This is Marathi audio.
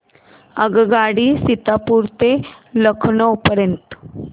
आगगाडी सीतापुर ते लखनौ पर्यंत